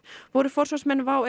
voru forsvarsmenn WOW